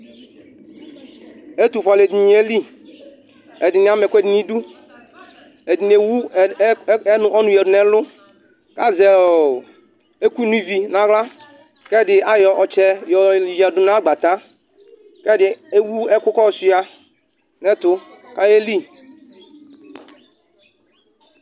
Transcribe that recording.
Ɛtʋfue akʋɛdɩnɩ yelɩ, ɛdɩnɩ ama ɛkʋɛdɩnɩ nʋ ɩdʋ, ɛdɩnɩ ewʋ ɔnʋ yadʋ nʋ ɛlʋ, kʋ azɛ ɛkʋ no ivi nʋ aɣla, kʋ ɛdɩ ayɔ ɔtsɛ yadʋ nʋ agbata kʋ ɛdɩ ewʋ ɛkʋ kʋ ɔsuia nʋ ɛtʋ kʋ ayelɩ.